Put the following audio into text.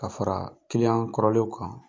Ka faraa kɔrɔlenw kan.